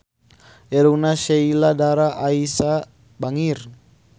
Irungna Sheila Dara Aisha bangir